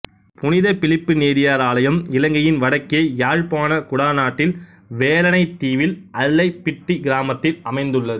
புனித பிலிப்பு நேரியார் ஆலயம் இலங்கையின் வடக்கே யாழ்ப்பாணக் குடாநாட்டில் வேலணைத் தீவில் அல்லைப்பிட்டி கிராமத்தில் அமைந்துள்ளது